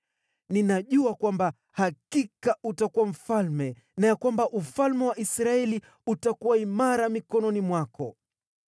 Ninajua kwamba hakika utakuwa mfalme na ya kwamba ufalme wa Israeli utakuwa imara mikononi mwako.